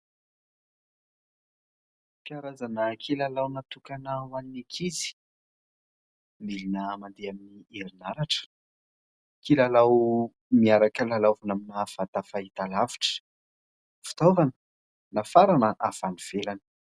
Karazana kilalao natokana ho an'ny ankizy. Milina mandeha amn'ny herinaratra. Kilalao miaraka lalaovina amina vata fahitalavitra. Fitaovana nafarana avy any ivelany.